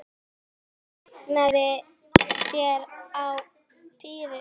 Hann kveinkaði sér og pírði augun skelfdur á hana.